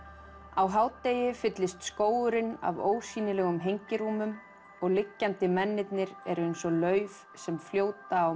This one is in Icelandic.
á hádegi fyllist skógurinn af ósýnilegum og liggjandi mennirnir eru eins og lauf sem fljóta á